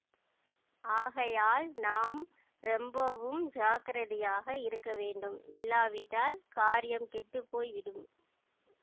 ஆகையால் நாம் ரொம்பவும் ஜாக்கிரதையாக இருக்க வேண்டும் இல்லாவிட்டால் காரியம் கெட்டு போய் விடும்